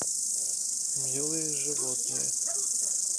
милые животные